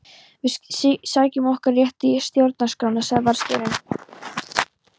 Við sækjum okkar rétt í stjórnarskrána sagði varðstjórinn.